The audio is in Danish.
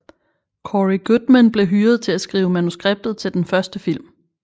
Cory Goodman blev hyret til at skrive manuskriptet til den første film